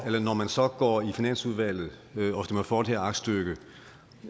at når man så går i finansudvalget og stemmer for det her aktstykke